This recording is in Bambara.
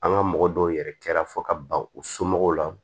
An ka mɔgɔ dɔw yɛrɛ kɛra fɔ ka ban u somɔgɔw la